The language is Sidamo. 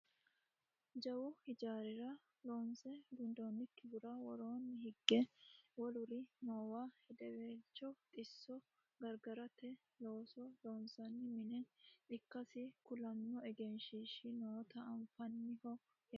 jawu hijaarira loonse gundoonnikihura woroonni hige woluri noowa hedeweelcho xisso gargarate looso loonsanni mine ikkasi kulanno egenshiishshi noota anfanniho yaate